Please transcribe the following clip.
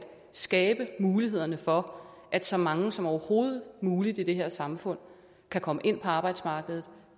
skabe mulighederne for at så mange som overhovedet muligt i det her samfund kan komme ind på arbejdsmarkedet